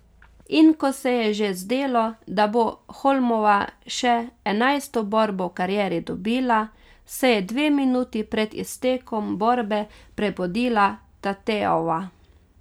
In ko se je že zdelo, da bo Holmova še enajsto borbo v karieri dobila, se je dve minuti pred iztekom borbe prebudila Tateova.